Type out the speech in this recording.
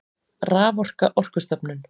Raforka Orkustofnun.